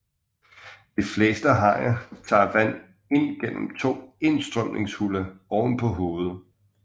De fleste hajer tager vand ind gennem to indstrømningshuller ovenpå hovedet